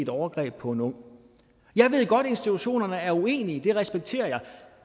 overgreb på en ung jeg ved godt at institutionerne er uenige det respekterer jeg